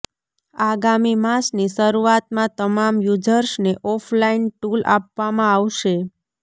આગામી માસની શરૂઆતમાં તમામ યુઝર્સને ઓફ લાઈન ટૂલ આપવામાં આવશે